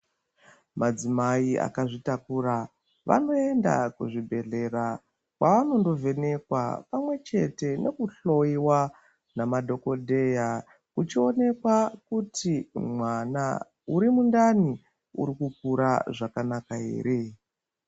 Madzimai akazvitakura vanoenda kuzvibhedhlera pavanondovhenekwa pamwe chete nekuhloyiwa nemadhokodheya uchionekwa kuti mwana urimundani urikukura zvakanaka ere.